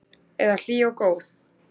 Eða hlý og góð?